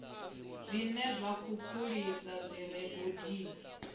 zwiṅwe zwikhukhulisi zwi re gondoni